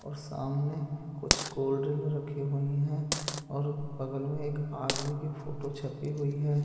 और सामने कुछ गोल्ड रिंग रखी हुई हैं और बगल में एक आदमी की फोटो छपी हुई है।